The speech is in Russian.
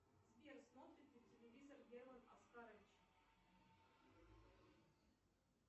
сбер смотрит ли телевизор герман оскарович